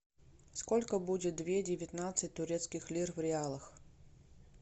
сколько будет две девятнадцать турецких лир в реалах